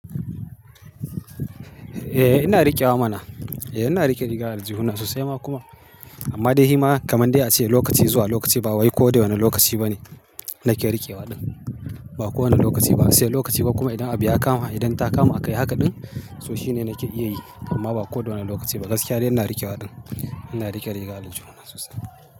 Eh ina riƙewa mana. Eh ina riƙe riga da aljihuna sosai ma kuma. Amma dai hima kamar dai a ce lokaci zuwa lokaci ba wai ko da wane lokaci ba ne nake riƙewa ɗin. Ba kowane lokaci ba, sai lokaci ba kuma idan abu ya kama idan ta kama akayi haka ɗin so shine nake iya yi amma ba ko da wane lokaci ba. Gaskiya dai ina riƙewa ɗin. Ina riƙe riga da aljihuna sosai.